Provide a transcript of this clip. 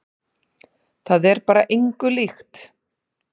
Það er bara engu líkt.